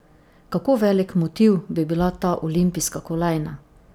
Kako velik motiv bi bila ta olimpijska kolajna?